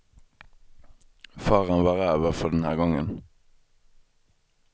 Faran var över för den här gången.